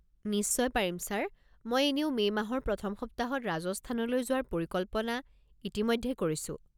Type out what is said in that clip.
নিশ্চয় পাৰিম ছাৰ। মই এনেও মে' মাহৰ প্ৰথম সপ্তাহত ৰাজস্থানলৈ যোৱাৰ পৰিকল্পনা ইতিমধ্যে কৰিছো।